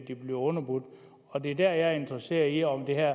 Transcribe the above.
de bliver underbudt og det er der jeg interesseret i om det